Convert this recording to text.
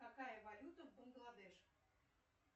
какая валюта в бангладеш